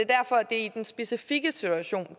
er altså i den specifikke situation